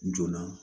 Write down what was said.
Joona